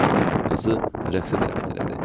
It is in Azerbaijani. Qızı rəqsə dəvət elədi.